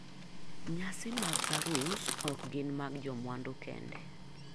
Nyasi mag arus ok gin mag jomwandu kende.